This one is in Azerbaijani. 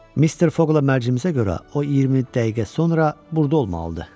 Mr. Fogla mərcimizə görə o 20 dəqiqə sonra burada olmalıdır.